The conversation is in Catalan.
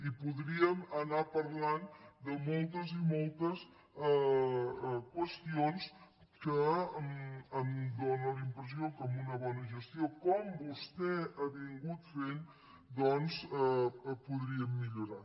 i podríem anar parlant de moltes i moltes qüestions que em dóna la impressió que amb una bona gestió com vostè ha vingut fent doncs podríem millorar